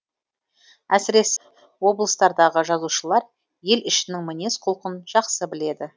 әсіресе облыстардағы жазушылар ел ішінің мінез құлқын жақсы біледі